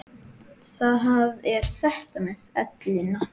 Það er þetta með ellina.